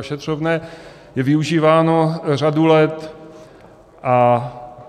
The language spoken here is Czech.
Ošetřovné je využíváno řadu let a